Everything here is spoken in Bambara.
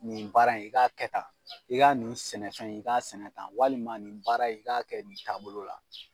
Nin baara in i k'a kɛ tan, i ka nin sɛnɛfɛn in i k'a sɛnɛ tan walima nin baara i k'a kɛ nin taabolo la.